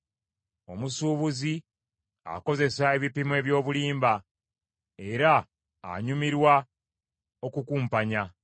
Omusuubuzi akozesa ebipimo eby’obulimba, era anyumirwa okukumpanya.